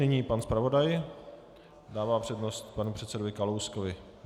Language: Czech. Nyní pan zpravodaj - dává přednost panu předsedovi Kalouskovi.